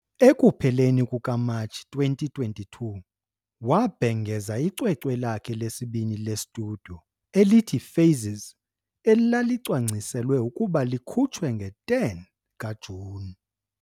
Ekupheleni kuka-Matshi 2022, wabhengeza icwecwe lakhe lesibini le-studio elithi Phases, elalicwangciselwe ukuba likhutshwe nge-10 kaJuni.